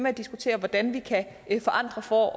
at diskutere hvordan vi kan forandre for